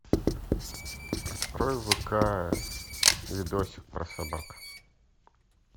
открой вк видосик про собак